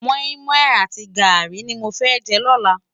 Mòimòi àti gári ni mó fè jè lòlá